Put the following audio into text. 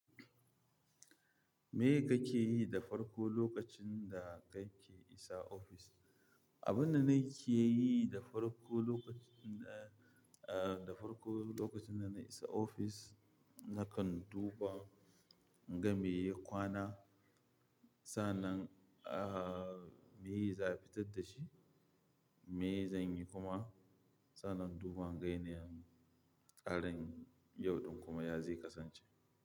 Me kake yi da farko lokacin da kake isa ofis? Abin da nake yi da farko lokacin, eh, da farko lokacin da na isa ofis, na kan duba in ga mai ya kwana, sannan, ah, me za a fitar da shi, me zan yi kuma sannan in duba in ga yanayin tsarin yau ɗin kuma ya zai kasance.